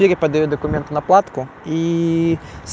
или подают документы на платку и